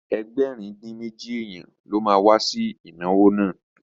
Ẹgbẹ̀rin-dín-méjì èèyàn ló ma wá sí ìnáwó náà